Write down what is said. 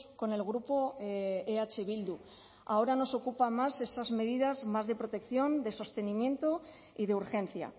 con el grupo eh bildu ahora nos ocupa más esas medidas más de protección de sostenimiento y de urgencia